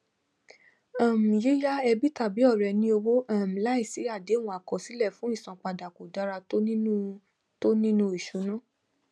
um yíyá ẹbí tàbí ọrẹ ní owó um láìsí àdéhùn àkọsílẹ fún isanpada kò dára tó nínú tó nínú ìṣúná